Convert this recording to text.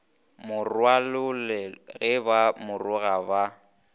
morwalole ge ba moroga ba